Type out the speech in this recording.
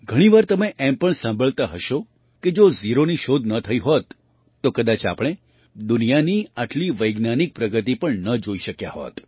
ઘણી વાર તમે એમ પણ સાંભળતા હશો કે જો ઝીરોની શોધ ન થઈ હોત તો કદાચ આપણે દુનિયાની આટલી વૈજ્ઞાનિક પ્રગતિ પણ ન જોઈ શક્યા હોત